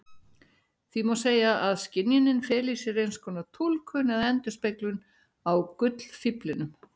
Því má segja að skynjunin feli í sér einskonar túlkun eða endurspeglun á gullfíflinum.